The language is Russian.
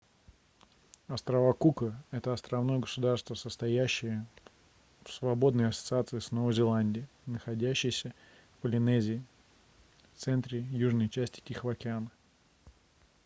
острова кука это островное государство состоящее в свободной ассоциации с новой зеландией находящейся в полинезии в центре южной части тихого океана